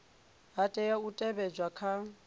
ha tea u teavhedzwa kha